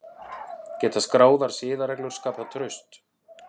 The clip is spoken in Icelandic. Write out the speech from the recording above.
Geta skráðar siðareglur skapað traust?